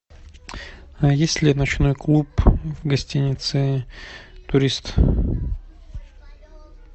есть ли ночной клуб в гостинице турист